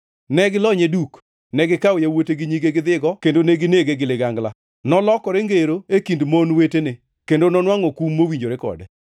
Ne gilonye duk, negikawo yawuote gi nyige gidhigo, kendo neginege gi ligangla. Nolokre ngero e kind mon wetene, kendo nonwangʼo kum mowinjore kode.